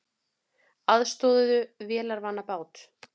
Aðstoðuðu vélarvana bát